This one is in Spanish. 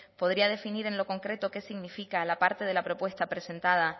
podría definir en lo concreto qué significa la parte de la propuesta presentada